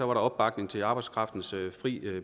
var opbakning til arbejdskraftens fri